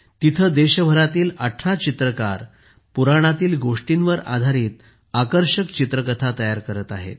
तिथे देशभरातील 18 चित्रकार पुराणांतील गोष्टींवर आधारित आकर्षक चित्रकथा तयार करत आहेत